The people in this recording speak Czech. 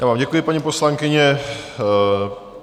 Já vám děkuji, paní poslankyně.